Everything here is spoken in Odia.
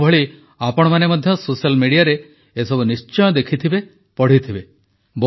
ମୋଭଳି ଆପଣମାନେ ମଧ୍ୟ ସୋସିଆଲ୍ Mediaରେ ଏସବୁ ନିଶ୍ଚୟ ଦେଖିଥିବେ ପଢ଼ିଥିବେ